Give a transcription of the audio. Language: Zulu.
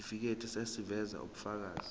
isitifiketi eziveza ubufakazi